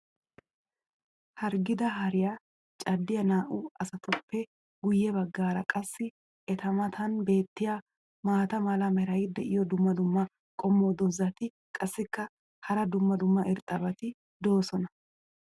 Harggida hariya caddiya naa'u asatuppe guye bagaara qassi eta matan beetiya maata mala meray diyo dumma dumma qommo dozzati qassikka hara dumma dumma irxxabati doosona.